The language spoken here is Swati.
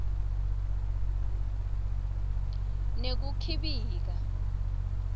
nekukhibika